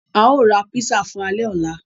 À yóò ra pízzà fun àlẹ ọlà